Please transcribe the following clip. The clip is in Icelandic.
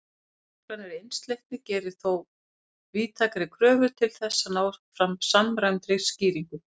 Meginreglan um einsleitni gerir þó víðtækari kröfur til þess að ná fram samræmdri skýringu.